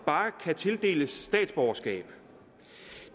kan tildeles statsborgerskab